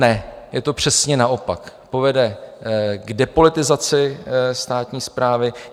Ne, je to přesně naopak, povede k depolitizaci státní správy.